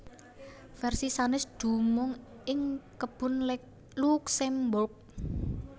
Versi sanès dumunung ing Kebun Luxembourg